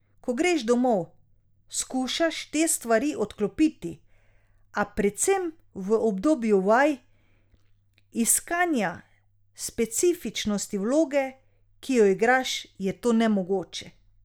Ko greš domov, skušaš te stvari odklopiti, a predvsem v obdobju vaj, iskanja specifičnosti vloge, ki jo igraš, je to nemogoče.